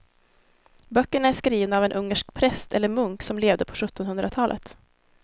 Böckerna är skrivna av en ungersk präst eller munk som levde på sjuttonhundratalet.